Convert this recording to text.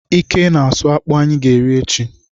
Ike na-asụ akpụ anyị ga-eri echi.